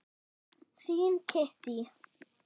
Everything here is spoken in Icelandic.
Þín Kittý.